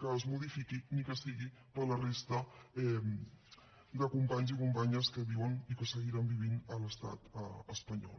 que es modifiqui ni que sigui per a la resta de companys i companyes que viuen i que seguiran vivint a l’estat espanyol